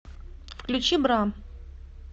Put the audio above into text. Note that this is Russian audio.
включи бра